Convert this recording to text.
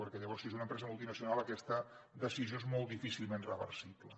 perquè llavors si és una empresa multinacional aquesta decisió és molt difícilment reversible